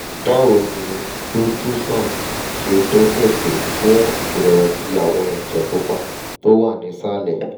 báwo ni rituxan ṣe gbéṣẹ́ tó fún ìrẹ̀wẹ̀sì àwọn ẹ̀jẹ̀ pupa tó wà nísàlẹ̀?